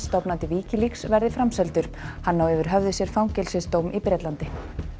stofnandi Wikileaks verði framseldur hann á yfir höfði sér fangelsisdóm í Bretlandi